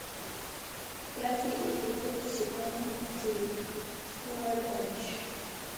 пятый эпизод сезона девять скорая помощь